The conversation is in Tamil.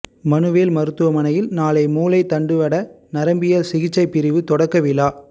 மனுவேல் மருத்துவமனையில் நாளை மூளை தண்டுவட நரம்பியல் சிகிச்சைப்பிரிவு தொடக்க விழா